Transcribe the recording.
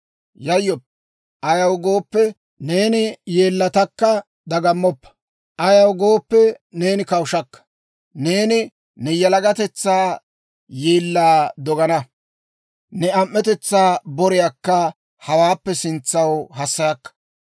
«Yayyoppa; ayaw gooppe, neeni yeellatakka. Dagammoppa; ayaw gooppe, neeni kawushakka. Neeni ne yalagatetsaa yeellaa dogana; ne am"etetsaa boriyaakka hawaappe sintsan hassayakka.